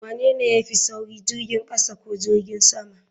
Wanene ya fi sauri jirgin kasa ko jirgin sama?